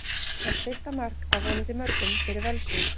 Hans fyrsta mark, af vonandi mörgum, fyrir Völsung!